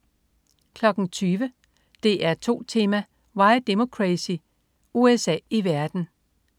20.00 DR2 Tema: Why Democracy. USA i verden